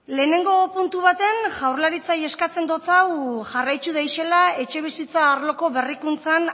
lehenengo puntu baten jaurlaritzai eskatzen dotsau jarraittu daixela etxebizitza arloko berrikuntzan